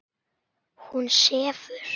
Hún sefur.